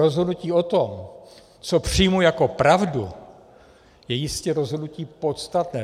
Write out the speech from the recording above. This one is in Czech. Rozhodnutí o tom, co přijmu jako pravdu, je jistě rozhodnutí podstatné.